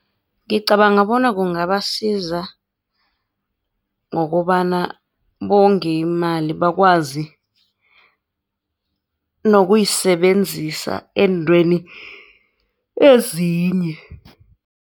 Ngicabanga bona kungabasiza, ngokobana bonge imali bakwazi nokuyisebenzisa eentweni ezinye.